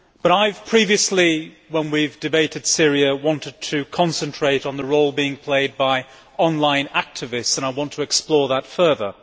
I have previously, when we debated Syria, wanted to concentrate on the role played by online activists and I want to explore that further.